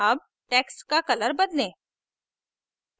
अब text का color बदलें